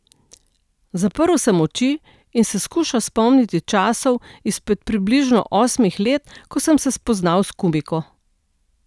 Zaprl sem oči in se skušal spomniti časov izpred približno osmih let, ko sem se spoznal s Kumiko.